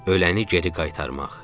Ölənə geri qaytarmaq.